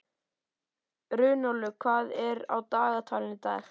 Runólfur, hvað er á dagatalinu í dag?